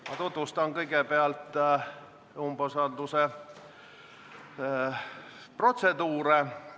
Ma tutvustan protseduuri.